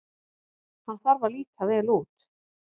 Hann þarf að líta vel út.